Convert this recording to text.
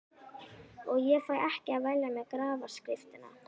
Og ég fæ ekki að velja mér grafskriftina.